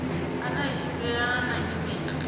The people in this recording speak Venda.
ane a tshimbilelana na nyimele